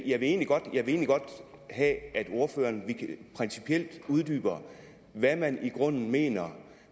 jeg vil egentlig godt have at ordføreren principielt uddyber hvad man i grunden mener